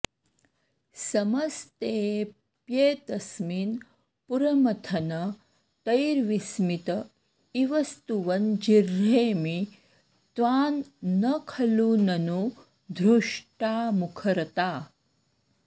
समस्तेऽप्येतस्मिन् पुरमथन तैर्विस्मित इव स्तुवन् जिह्रेमि त्वां न खलु ननु धृष्टा मुखरता